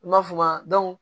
I m'a f'u ma